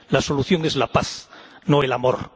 La solución es la paz, no el amor.